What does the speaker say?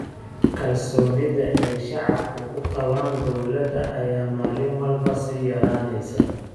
Kalsoonida ay shacabku ku qabaan dowladda ayaa maalin walba sii yaraaneysa.